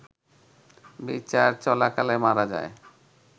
বিচার চলাকালে মারা যান